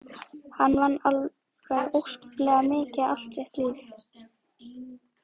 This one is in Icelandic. Hann vann alveg óskaplega mikið allt sitt líf.